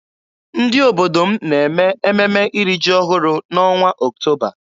Ndị obodo m na-eme ememe iri ji ọhụrụ n'ọnwa Ọktoba.